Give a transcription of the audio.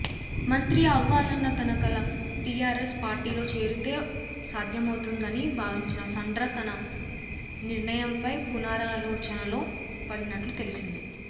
మంత్రి అవ్వాలన్న తన కల టీఆర్ఎస్ పార్టీలో చేరితో సాధ్యమవుతుందని భావించిన సండ్ర తన నిర్ణయంపై పునరాలోచనలో పడినట్లు తెలిసింది